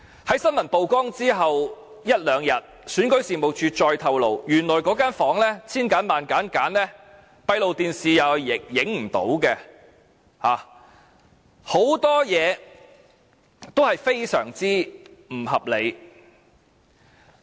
在新聞曝光之後一兩天，選舉事務處再透露，原來千挑萬選之後，那間房正好是閉路電視拍攝不到的，很多事情也非常不合理。